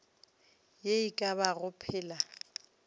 ye e ka bago phela